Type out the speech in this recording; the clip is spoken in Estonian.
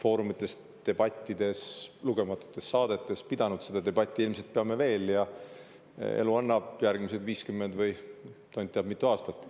foorumites, debattides ja lugematutes saadetes seda debatti pidanud, ilmselt peame veel, kui elu annab, järgmised 50 või tont teab kui mitu aastat.